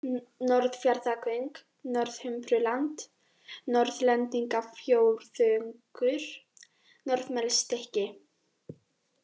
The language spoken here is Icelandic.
Norðfjarðargöng, Norðhumbraland, Norðlendingafjórðungur, Norðmelsstykki